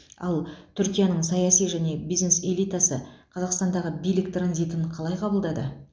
ал түркияның саяси және бизнес элитасы қазақстандағы билік транзитін қалай қабылдады